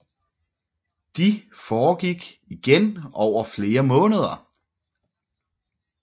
De foregik igen over flere måneder